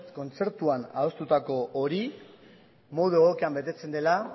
kontzertua adostutako hori modu egokian betetzen dela